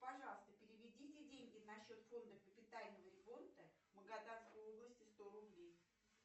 пожалуйста переведите деньги на счет фонда капитального ремонта магаданской области сто рублей